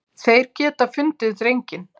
Þeir geta fundið drenginn.